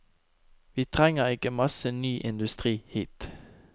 Vi trenger ikke masse ny industri hit.